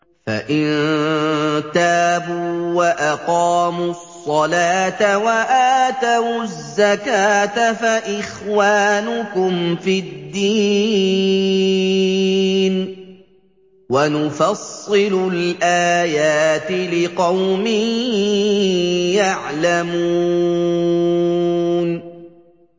فَإِن تَابُوا وَأَقَامُوا الصَّلَاةَ وَآتَوُا الزَّكَاةَ فَإِخْوَانُكُمْ فِي الدِّينِ ۗ وَنُفَصِّلُ الْآيَاتِ لِقَوْمٍ يَعْلَمُونَ